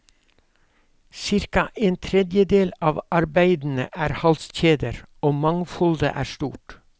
Cirka en tredjedel av arbeidene er halskjeder, og mangfoldet er stort.